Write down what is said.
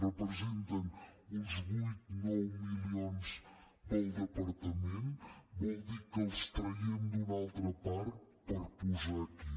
representen uns vuit nou milions pel departament vol dir que els traiem d’una altra part per posarlos aquí